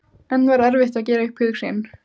En var erfitt að gera upp hug sinn?